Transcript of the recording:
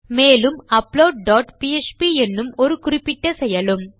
மேலும் upload dot PHP என்னும் ஒரு குறிப்பிட்ட செயலும்